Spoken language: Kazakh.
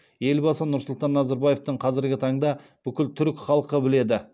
елбасы нұрсұлтан назарбаевты қазіргі таңда бүкіл түрік халқы біледі